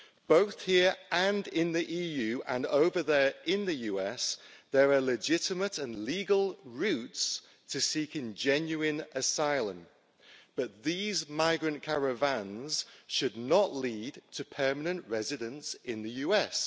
Both here and in the EU and over there in the US there are legitimate and legal routes for seeking genuine asylum, but these migrant caravans should not lead to permanent residence in the US.